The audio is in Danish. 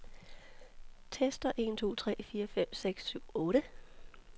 Tester en to tre fire fem seks syv otte.